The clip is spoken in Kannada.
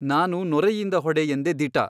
ನಾನು ನೊರೆಯಿಂದ ಹೊಡೆ ಎಂದೆ ದಿಟ.